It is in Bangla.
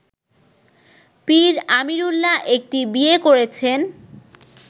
পীর আমিরুল্লাহ একটি বিয়ে করেছেন